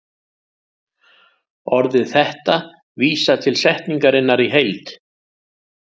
Orðið þetta vísar til setningarinnar í heild.